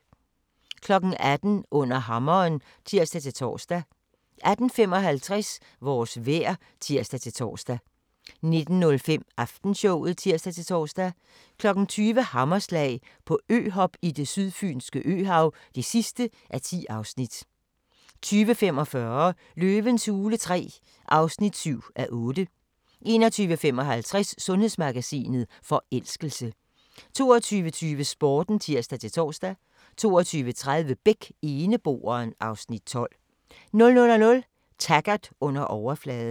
18:00: Under hammeren (tir-tor) 18:55: Vores vejr (tir-tor) 19:05: Aftenshowet (tir-tor) 19:55: TV-avisen (tir-tor) 20:00: Hammerslag - på øhop i det sydfynske øhav (10:10) 20:45: Løvens hule III (7:8) 21:55: Sundhedsmagasinet: Forelskelse 22:20: Sporten (tir-tor) 22:30: Beck: Eneboeren (Afs. 12) 00:00: Taggart: Under overfladen